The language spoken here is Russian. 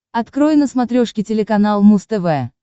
открой на смотрешке телеканал муз тв